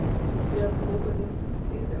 Eu vestia as roupas das princesas.